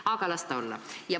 Aga las ta olla!